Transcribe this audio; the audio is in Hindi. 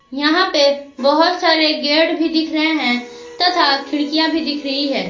यहां पे बहोत सारे गेट भी दिख रहे है तथा खिड़कियां भी दिख रही है।